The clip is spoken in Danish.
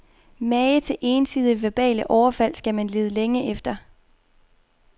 Mage til ensidige verbale overfald skal man lede længe efter.